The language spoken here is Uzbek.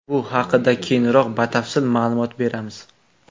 Bu haqida keyinroq batafsil ma’lumot beramiz.